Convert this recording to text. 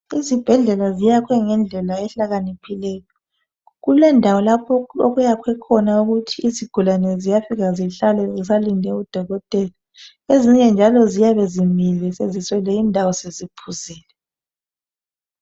Izibhedlela ziyakhwe ngendlela ehlakaniphileyo. Kulendawo lapho okuyakhwe ukuthi izigulani ziyafika zihlale zisalinde udokotela. Ezinye njalo ziyabe zimile seziswele indawo seziphuzile.